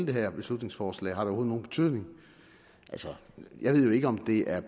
det her beslutningsforslag har nogen betydning jeg ved jo ikke om det er